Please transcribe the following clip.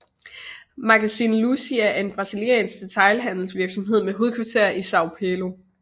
Magazine Luiza er en brasiliansk detailhandelsvirksomhed med hovedkvarter i São Paulo